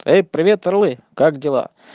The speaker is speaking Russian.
эй привет рои как дела